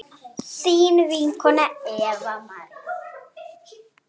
þín vinkona Eva María.